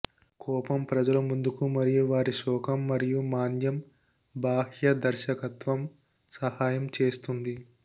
కోపం ప్రజలు ముందుకు మరియు వారి శోకం మరియు మాంద్యం బాహ్య దర్శకత్వం సహాయం చేస్తుంది